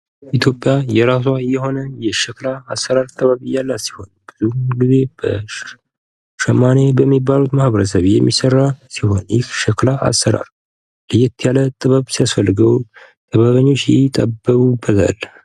ኢትዮጵያ የራሷ የሆነ የሸክላ አሰራር ጥበብ ያላት ሲሆን ሸማኔ በሚባሉት ማህበረሰብ የሚሰራ ሲሆን ይህ ሸክላ አሰራር ለየት ያለ ጥበብ ሲያስፈልገው ጥበበኞች ይጠበቡበታል።